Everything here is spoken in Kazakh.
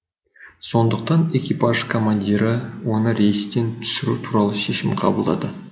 сондықтан экипаж командирі оны рейстен түсіру туралы шешім қабылдады